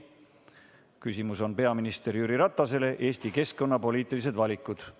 Küsimus on peaminister Jüri Ratasele Eesti keskkonnapoliitiliste valikute kohta.